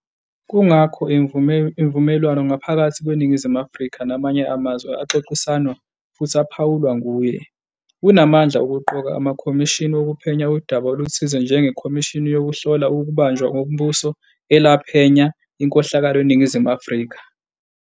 Kungakho imivumelwane ngaphakathi kweNingizimu Afrika namanye amazwe axoxisanwa futhi aphawulwa nguye. Unamandla okuqoka amakhomishini wokuphenya udaba oluthize njenge-Khomishini yokuHlola ukuBanjwa kwomBuso elaphenya inkohlakalo eNingizimu Afrika.